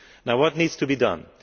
What needs to be done?